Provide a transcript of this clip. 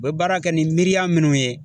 U bɛ baara kɛ ni miiriya minnu ye